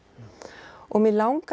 og mig langaði